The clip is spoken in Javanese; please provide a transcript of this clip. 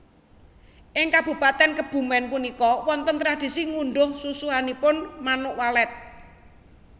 Ing Kabupaten Kebumen punika wonten tradisi ngunduh susuhipun Manuk Walet